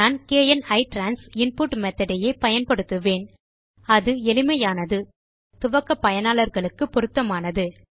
நான் kn ITRANS input method யே பயன்படுத்துவேன் அது எளிமையானது துவக்க பயனாளர்களுக்கு பொருத்தமானது